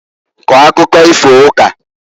Kọọ akụkọ ifo ukaǃ